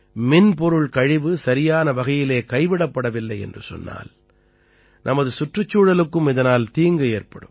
மின்பொருள் கழிவு சரியான வகையிலே கைவிடப்படவில்லை என்று சொன்னால் நமது சுற்றுச்சூழலுக்கும் இதனால் தீங்கு ஏற்படும்